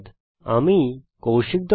আমি কৌশিক দত্ত